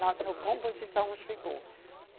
Na composição chegou.